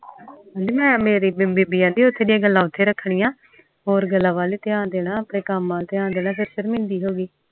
ਕਹਿਣੀ ਮੈਂ ਬੇਬੇ ਕਹਿੰਦੀ ਓਥੇ ਦੇ ਗੱਲਾਂ ਓਥੇ ਰੱਖਣੀਆਂ ਹੋਰ ਕਾਮ ਵਾਲ ਧਯਾਨ ਦੇਣਾ ਆਪਣੇ ਕਾਮ ਵਾਲ ਧਿਆਨ ਦੇਣਾ